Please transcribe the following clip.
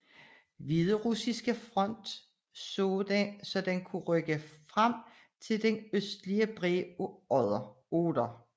Hviderussiske front så den kunne rykke frem til den østlige bred af Oder